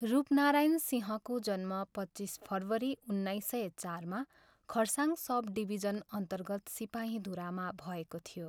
रूपनारायण सिंहको जन्म पच्चिस फरवरी उन्नाइस सय चारमा खरसाङ सब डिभिजनअन्तर्गत सिपाहीधुरामा भएको थियो।